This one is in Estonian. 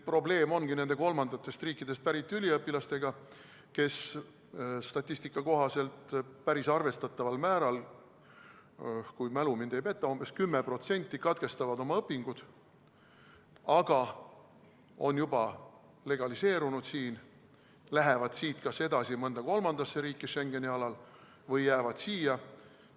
Probleem ongi nende kolmandatest riikidest pärit üliõpilastega, kes statistika kohaselt päris arvestataval määral katkestavad oma õpingud, aga nad on juba siin legaliseerunud, nad kas lähevad siit edasi mõnda kolmandasse riiki Schengeni alal või jäävad siia.